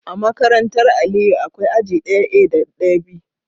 A makarantar Aliyu akwai aji daya A da daya B